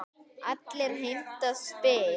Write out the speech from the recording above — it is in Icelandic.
Allir heimta spil.